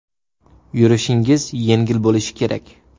Yurishingiz yengil bo‘lishi kerak.